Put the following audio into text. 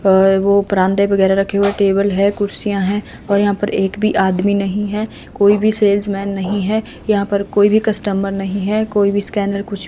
अह वो परांदे वगैरा रखे हुए हैं टेबल है कुर्सियां है और यहां पर एक भी आदमी नहीं है कोई भी सेल्समैन नहीं है यहां पर कोई भी कस्टमर नहीं है कोई भी स्कैनर कुछ--